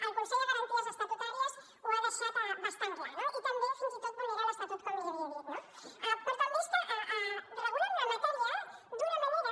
el consell de garanties estatutàries ho ha deixat bastant clar no i també fins i tot vulnera l’estatut com li havia dit no però també és que regulen una matèria d’una manera